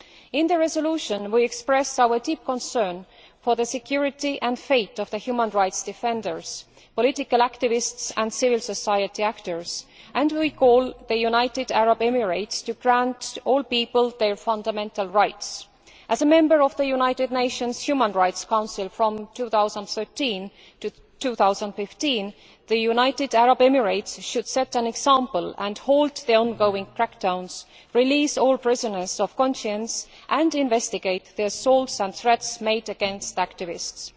In the resolution we express our deep concern for the security and fate of the human rights defenders, political activists and civil society actors and call on the United Arab Emirates to grant to all people their fundamental rights. As a member of the United Nations Human Rights Council from 2013 to 2015, the United Arab Emirates should set an example and halt the ongoing crack downs, release all prisoners of conscience and investigate the assaults and threats made against activists.